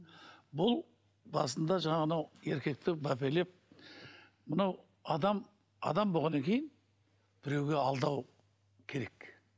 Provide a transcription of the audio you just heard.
бұл басында жаңағы анау еркекті мәпелеп мынау адам адам болғаннан кейін біреуге алдау керек